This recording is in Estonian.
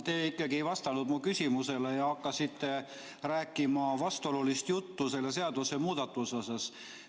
Te ikkagi ei vastanud mu küsimusele ja hakkasite rääkima vastuolulist juttu selle seadusemuudatuse teemal.